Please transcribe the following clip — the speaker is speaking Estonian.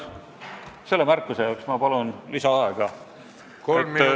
Selle märkuse jaoks ma palun lisaaega!